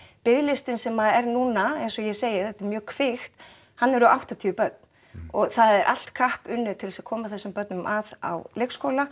biðlistinn sem er núna eins og ég segi þetta er mjög kvikt hann eru áttatíu börn og það er allt kapp unnið til þess að koma þessum börnum að á leikskóla